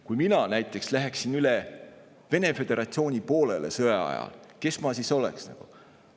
Kui mina näiteks läheksin sõja ajal üle Vene föderatsiooni poolele, kes ma siis oleksin?